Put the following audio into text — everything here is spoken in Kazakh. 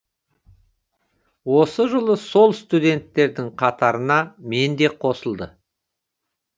осы жылы сол студенттердің қатарына мен де қосылды